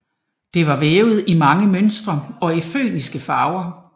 Det var vævet i mange mønstre og i fønikiske farver